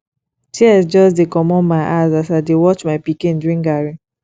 tears just dey comot my eyes as i dey watch my pikin drink garri